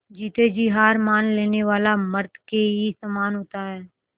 जीते जी हार मान लेने वाला मृत के ही समान होता है